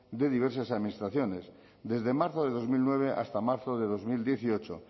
de diversas administraciones desde marzo de dos mil nueve hasta marzo de dos mil dieciocho